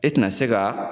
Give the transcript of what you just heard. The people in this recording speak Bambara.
E tɛna se ka